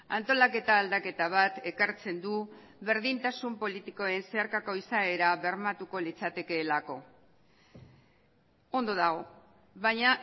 antolaketa aldaketa bat ekartzen du berdintasun politikoen zeharkako izaera bermatuko litzatekeelako ondo dago baina